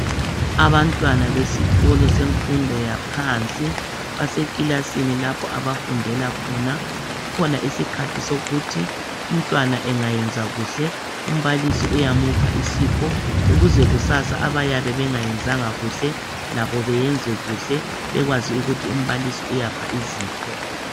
Abantwana besikolo semfundo yaphansi basekilasini lapho abafundela khona. Kukhona isikhathi sokuthi umntwana engayenza kuhle umbalisi uyamupha isipho ukuze kusasa abayabe bengayenzanga kuhle labo bayenze kuhle bekwazi ukuthi umbalisi uyapha izipho.